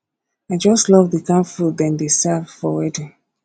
i just love the kin food dem dey serve for wedding